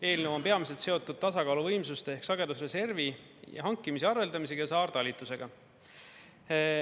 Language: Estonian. Eelnõu on peamiselt seotud tasakaaluvõimsuste ehk sagedusreservi hankimise ja arveldamisega ja saartalitlusega.